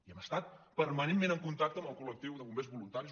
i hem estat permanentment en contacte amb el col·lectiu de bombers voluntaris